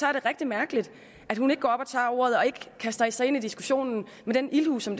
er det rigtig mærkeligt at hun ikke går op og tager ordet og kaster sig ind i diskussionen med den ildhu som